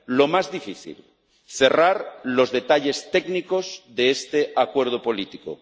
Lo más difícil cerrar los detalles técnicos de este acuerdo político